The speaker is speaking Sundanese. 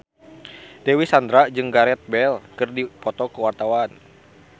Dewi Sandra jeung Gareth Bale keur dipoto ku wartawan